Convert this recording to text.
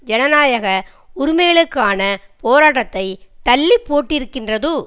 ஜனநாயக உரிமைகளுக்கான போராட்டத்தை தள்ளிப்போட்டிருக்கின்றது